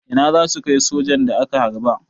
Ina za su kai sojan da aka harba?